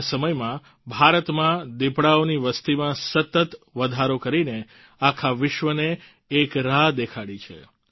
તેવા સમયમાં ભારતમાં દિપડાઓની વસતીમાં સતત વધારો કરીને આખા વિશ્વને એક રાહ દેખાડી છે